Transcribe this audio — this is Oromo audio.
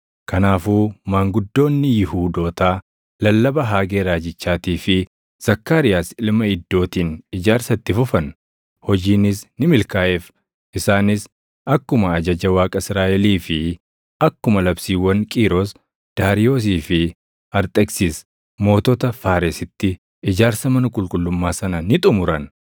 Kanaafuu maanguddoonni Yihuudootaa lallaba Haagee raajichaatii fi Zakkaariyaas ilma Iddootiin ijaarsa itti fufan; hojiinis ni milkaaʼeef. Isaanis akkuma ajaja Waaqa Israaʼelii fi akkuma labsiiwwan Qiiros, Daariyoosii fi Arxeksis mootota Faaresitti ijaarsa mana qulqullummaa sana ni xumuran.